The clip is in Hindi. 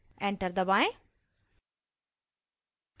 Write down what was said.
enter दबाएं